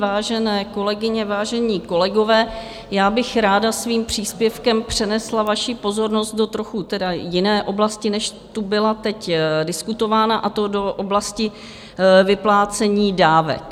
Vážené kolegyně, vážení kolegové, já bych ráda svým příspěvkem přenesla vaši pozornost do trochu tedy jiné oblasti, než tu byla teď diskutována, a to do oblasti vyplácení dávek.